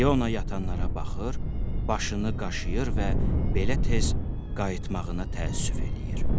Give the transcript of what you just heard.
İona yatanlara baxır, başını qaşıyır və belə tez qayıtmağına təəssüf eləyir.